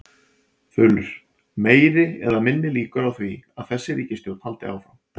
Þulur: Meiri eða minni líkur á því að þessi ríkisstjórn haldi áfram?